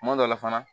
Kuma dɔ la fana